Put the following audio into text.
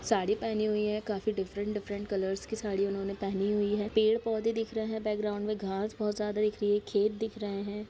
साड़ी पेहनी हुई है काफी डिफफरंट डिफफरंट कलरस की साड़ी उन्होंने पेहनी हुई हैं पेड़-पौधे दिख रहे हैं बैकग्राउंड मे घास बहुत ज्यादा दिख रही है खेत दिख रहे हैं।